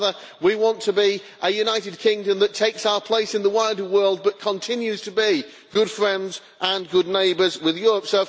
rather we want to be a United Kingdom that takes its place in the wider world, but continues to be good friends and good neighbours with Europe.